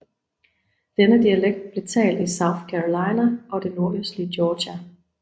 Denne dialekt blev talt i South Carolina og det nordøstlige Georgia